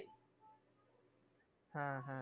হ্যাঁ হ্যাঁ